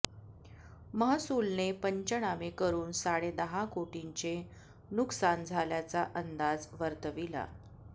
महसूलने पंचनामे करून साडेदहा कोटींचे नुकसान झाल्याचा अंदाज वर्तविला